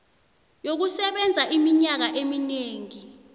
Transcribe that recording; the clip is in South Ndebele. yokusebenza iminyaka eminengi